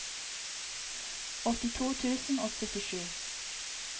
åttito tusen og syttisju